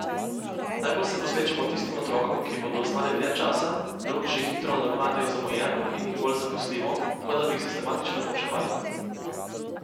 Najbolj se posvečamo tistim otrokom, ki bodo ostali dlje časa, drugi že hitro nadoknadijo zamujeno in jih bolj zaposlimo, kot da bi jih sistematično poučevali.